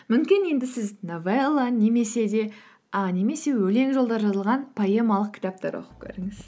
мүмкін енді сіз новелла немесе өлең жолдары жазылған поэмалық кітаптар оқып көріңіз